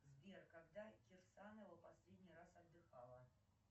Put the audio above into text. сбер когда кирсанова последний раз отдыхала